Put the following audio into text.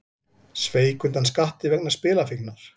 Sveik undan skatti vegna spilafíknar